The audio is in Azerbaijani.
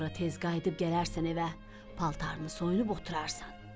Sonra tez qayıdıb gələrsən evə, paltarını soyunub oturarsan.